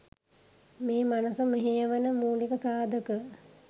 මේ මනස මෙහෙයවන මූලික සාධක.